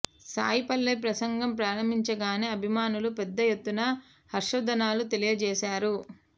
సాయి పల్లవి ప్రసంగం ప్రారంభించగానే అభిమానులు పెద్ద ఎత్తున హర్షద్వానాలు తెలియజేశారు